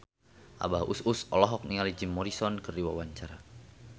Abah Us Us olohok ningali Jim Morrison keur diwawancara